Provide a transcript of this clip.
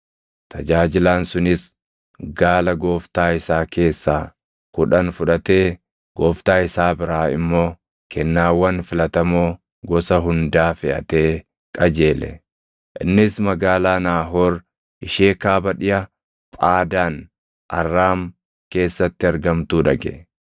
Tajaajilaan sunis gaala gooftaa isaa keessaa kudhan fudhatee gooftaa isaa biraa immoo kennaawwan filatamoo gosa hundaa feʼatee qajeele; innis magaalaa Naahoor ishee kaaba dhiʼa Phaadaan Arraam keessatti argamtuu dhaqe.